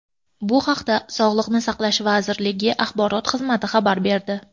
Bu haqda Sog‘liqni saqlash vazirligining Axborot xizmati xabar berdi.